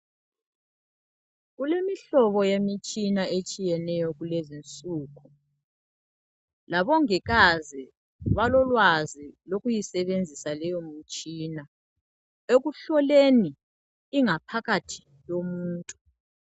Kulemihlobo yemitshina etshiyeneyo kulezi insuku. Labongikazi balolwazi lokuyisebenzisa leyomitshina. Ekuhloleni ingaphakathi yomuntu.